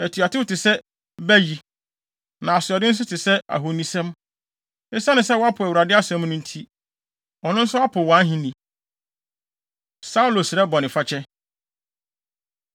Atuatew te sɛ bayi, na asoɔden nso te sɛ ahonisom. Esiane sɛ woapo Awurade asɛm no nti, ɔno nso apo wʼahenni.” Saulo Srɛ Bɔnefakyɛ